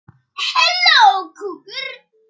spurði Berta furðu lostin.